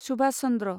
Subhash Chandra